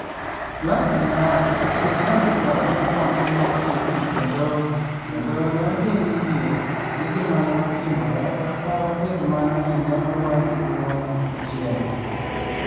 Lasso ne owacho ni ne odhi dwaro ni kwan - gi otim kendo, kendo ne odhi yie gi gima ne otimore kata bed mana ni ne oloye gi "buono achiel".